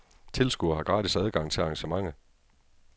Tilskuere har gratis adgang til arrangementet.